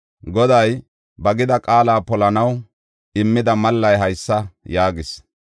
“Goday ba gida qaala polanaw immida mallay haysa yaagis: